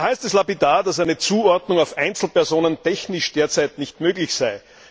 Da heißt es lapidar, dass eine Zuordnung auf Einzelpersonen technisch derzeit nicht möglich sei.